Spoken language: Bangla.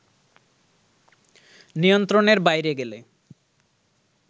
নিয়ন্ত্রণের বাইরে গেলে